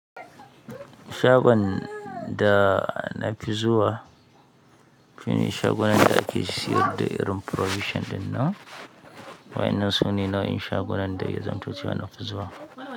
Shagon da nafi zuwa shine shagon da ake sayar da irin provision ɗin nan wan in nan shine nau in shago nan da yazam to nafi zuwa.